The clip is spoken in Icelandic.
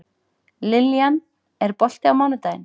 Lillian, er bolti á mánudaginn?